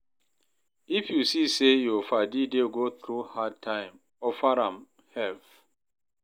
If yu see say yur padi dey go thru hard time, offer am help.